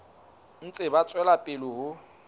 ntse ba tswela pele ho